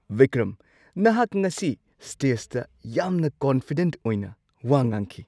ꯕꯤꯀ꯭ꯔꯝ! ꯉꯁꯤ ꯅꯍꯥꯛ ꯉꯁꯤ ꯁ꯭ꯇꯦꯖꯇ ꯌꯥꯝꯅ ꯀꯟꯐꯤꯗꯦꯟꯠ ꯑꯣꯏꯅ ꯋꯥ ꯉꯥꯡꯈꯤ!